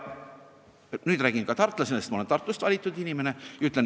Ma räägin seda ka tartlasena, sest ma olen Tartust valitud inimene.